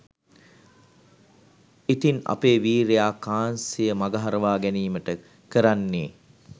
ඉතින් අපේ වීරයා කාන්සිය මගහරවා ගැනීමට කරන්නේ